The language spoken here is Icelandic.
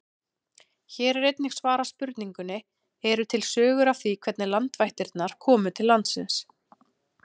Hér er einnig svarað spurningunni: Eru til sögur af því hvernig landvættirnar komu til landsins?